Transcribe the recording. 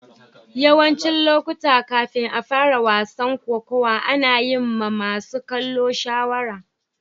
Yawancin lokuta, kafin a fara wasan kokawa, ana yin ma masun kallo shawara.